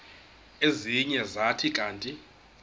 ezinye zathi kanti